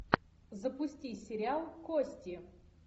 запусти сериал кости